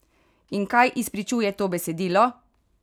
In kaj izpričuje to besedilo?